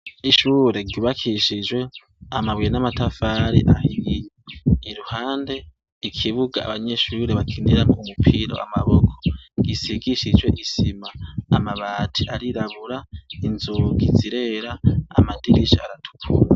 Ishure ryubakishijwe amabuye n'amatafari ahiye. Iruhande, ikibuga abanyeshure bakiniramo umupira w'amaboko gisigishijwe isima, amabati arirabura, inzugi zirera, amadirisha aratukura.